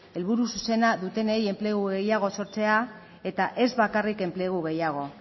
helburu zuzena dutenei enplegu gehiago sortzea eta ez bakarrik enplegu gehiago